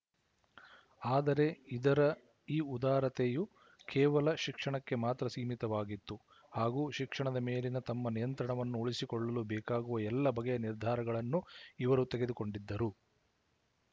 ಆದರೆ ಇದರ ಈ ಉದಾರತೆಯು ಕೇವಲ ಶಿಕ್ಷಣಕ್ಕೆ ಮಾತ್ರ ಸೀಮಿತವಾಗಿತ್ತು ಹಾಗೂ ಶಿಕ್ಷಣದ ಮೇಲಿನ ತಮ್ಮ ನಿಯಂತ್ರಣವನ್ನು ಉಳಿಸಿಕೊಳ್ಳಲು ಬೇಕಾಗುವ ಎಲ್ಲ ಬಗೆಯ ನಿರ್ಧಾರಗಳನ್ನು ಇವರು ತೆಗೆದುಕೊಂಡಿದ್ದರು